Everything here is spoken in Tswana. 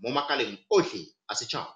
mo makaleng otlhe a setšhaba.